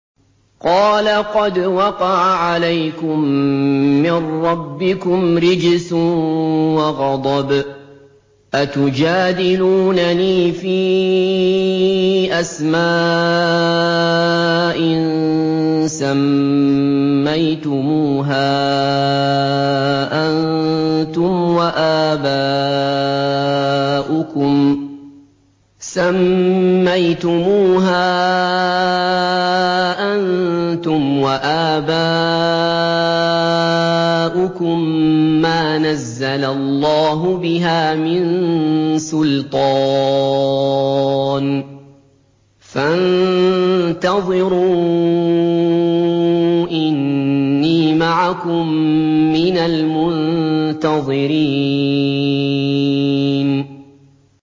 قَالَ قَدْ وَقَعَ عَلَيْكُم مِّن رَّبِّكُمْ رِجْسٌ وَغَضَبٌ ۖ أَتُجَادِلُونَنِي فِي أَسْمَاءٍ سَمَّيْتُمُوهَا أَنتُمْ وَآبَاؤُكُم مَّا نَزَّلَ اللَّهُ بِهَا مِن سُلْطَانٍ ۚ فَانتَظِرُوا إِنِّي مَعَكُم مِّنَ الْمُنتَظِرِينَ